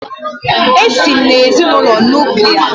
Èsi m n'ezinụlọ Nuklià